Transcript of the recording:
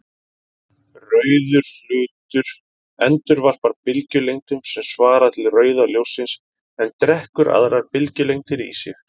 Rauður hlutur endurvarpar bylgjulengdum sem svara til rauða ljóssins en drekkur aðrar bylgjulengdir í sig.